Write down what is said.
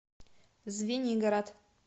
звенигород